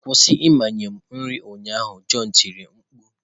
Kwụsị ịmanye m nri ụnyaahụ, john tiri mkpu.